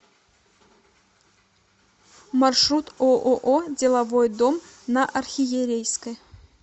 маршрут ооо деловой дом на архиерейской